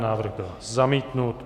Návrh byl zamítnut.